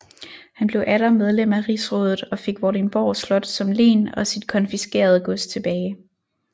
Han blev atter medlem af rigsrådet og fik Vordingborg Slot som len og sit konfiskerede gods tilbage